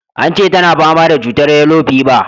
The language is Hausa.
Ance tana fama da cutan yellow fever.